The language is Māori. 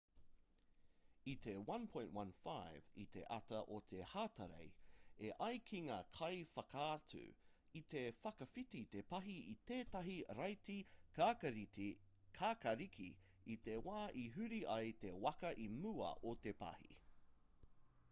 i te 1.15 i te ata o te hatarei e ai ki ngā kaiwhakaatu i te whakawhiti te pahi i tētahi raiti kākāriki i te wā i huri ai te waka i mua o te pahi